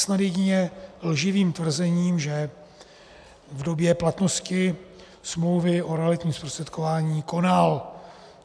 Snad jedině lživým tvrzením, že v době platnosti smlouvy o realitním zprostředkování konal.